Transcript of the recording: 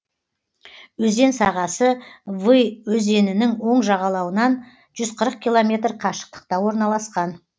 өзен сағасы вы өзенінің оң жағалауынан жүз қырық километр қашықтықта орналасқан